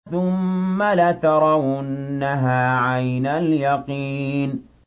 ثُمَّ لَتَرَوُنَّهَا عَيْنَ الْيَقِينِ